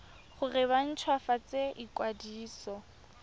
gore ba nt hwafatse ikwadiso